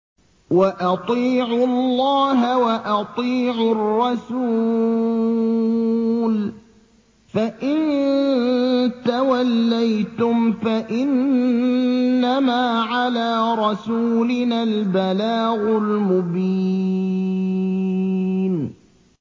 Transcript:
وَأَطِيعُوا اللَّهَ وَأَطِيعُوا الرَّسُولَ ۚ فَإِن تَوَلَّيْتُمْ فَإِنَّمَا عَلَىٰ رَسُولِنَا الْبَلَاغُ الْمُبِينُ